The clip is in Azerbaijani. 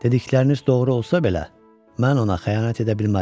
Dedikləriniz doğru olsa belə, mən ona xəyanət edə bilmərəm.